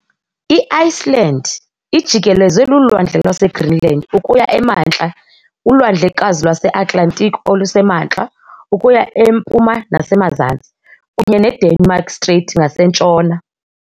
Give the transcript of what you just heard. I-Iceland ijikelezwe luLwandle lwaseGreenland ukuya emantla, uLwandlekazi lwaseAtlantiki oluseMantla ukuya empuma nasemazantsi, kunye neDenmark Strait ngasentshona.